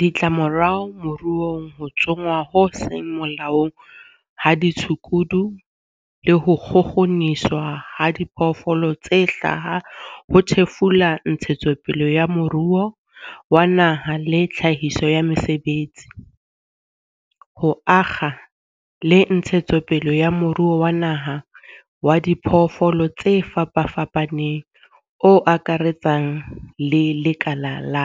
Ditlamorao moruong Ho tsongwa ho seng molaong ha ditshukudu le ho kgukguniswa ha diphoofolo tse hlaha ho thefula ntshetsopele ya moruo wa naha le tlhahiso ya mesebetsi, ho akga le ntshetsopele ya moruo wa naha wa diphoofolo tse fapafapaneng o akaretsang le lekala la